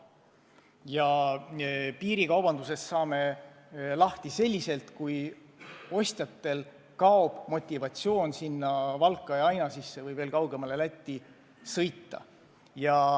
Ja piirikaubandusest saame lahti siis, kui ostjatel kaob motivatsioon Valka või Ainažisse või veel kaugemale Lätti sõita.